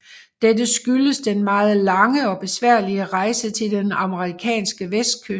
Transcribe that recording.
Dette skyldes den meget lange og besværlige rejse til den amerikanske vestkyst